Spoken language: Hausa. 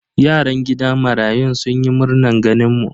Yaran gidan marayun sun yi murnan ganin mu.